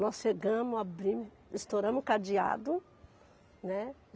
Nós chegamos, abrimos, estouramos o cadeado, né.